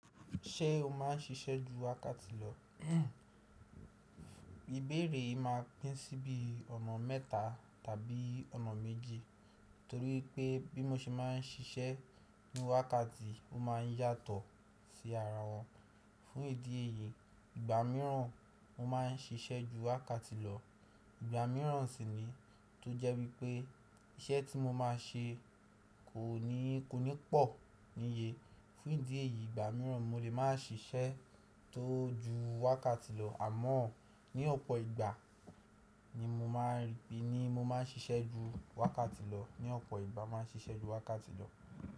Ṣé o máà ń ṣiṣẹ́ ju wákàtì lọ? Ibẹ̀rẹ̀ máà pín síbi ọ̀nà mẹ́ta tàbí ọ̀nà méjì. Nítorí pé bí mo ṣe máà ń ṣiṣẹ́ ní wákàtì, ó máà ń yàtọ̀ sí ara wọn. Fún ìdí èyí, ìgbà mìíràn mo máà ń ṣiṣẹ́ ju wákàtì lọ, ìgbà mìíràn sì ni tó jẹ́ wípé iṣẹ́ tí mo máa ṣe kò ní pọ̀ níye. Fún ìdí èyí, ìgbà mìíràn mo lè máa ṣiṣẹ́ tó ju wákàtì lọ àmọ́ ní ọ̀pọ̀ ìgbà ni mo máa ń rí ni mo máà ń ṣiṣẹ́ ju wákàtì lọ. Ní ọ̀pọ̀ ìgbà mo máà ń ṣiṣẹ́ ju wákàtì lọ.